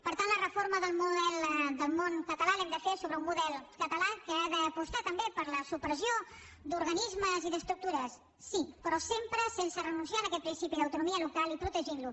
per tant la reforma del model del món català l’hem de fer sobre un model català que ha d’apostar també per la supressió d’organismes i d’estructures sí però sempre sense renunciar a aquest principi d’autonomia local i protegint lo